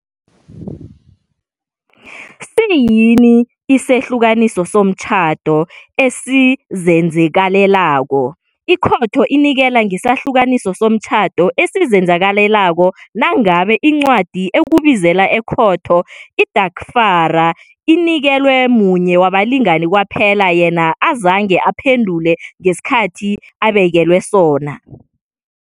Siyini Isehlukaniso Somtjhado Esizenzakalelako? Ikhotho inikela ngesehlukaniso somtjhado esizenzakalelako nangabe incwadi ekubizela ekhotho, idarhifara inikelwe munye wabalingani kwaphela yena azange aphendule ngesikhathi abekelwe sona.